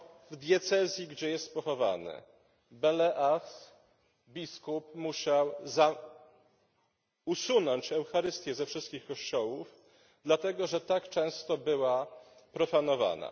W diecezji, gdzie jest pochowany, biskup musiał usunąć Eucharystię ze wszystkich kościołów, dlatego że tak często była profanowana.